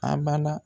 A bala